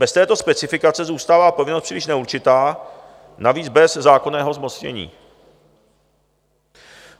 Bez této specifikace zůstává povinnost příliš neurčitá, navíc bez zákonného zmocnění.